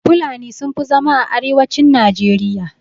Fulani sun fi zama a arewacin najeriya.